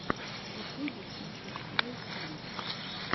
в ютюбе сникерс снай фильм